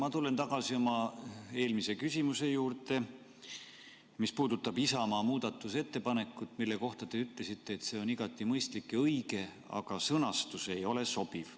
Ma tulen tagasi oma eelmise küsimuse juurde, mis puudutab Isamaa muudatusettepanekut, mille kohta te ütlesite, et see on igati mõistlik ja õige, aga sõnastus ei ole sobiv.